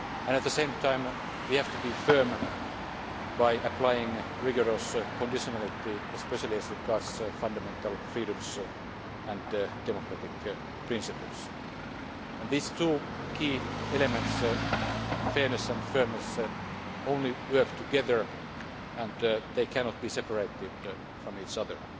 At the same time, we have to be firm by applying rigorous conditionality, especially as regards fundamental freedoms and democratic principles. These two key elements fairness and firmness only work together and they cannot be separated from each other.